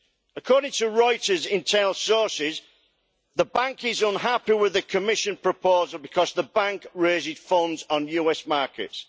According to Reuters internal sources, the EIB is unhappy with the Commission proposal because the EIB raises funds on US markets.